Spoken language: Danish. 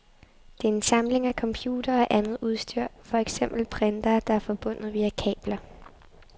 Det er en samling af computere og andet udstyr, for eksempel printere, der er forbundet via kabler.